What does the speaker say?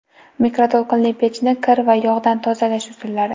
Mikroto‘lqinli pechni kir va yog‘dan tozalash usullari.